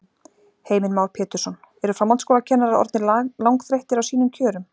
Heimir Már Pétursson: Eru framhaldsskólakennarar orðnir langþreyttir á sínum kjörum?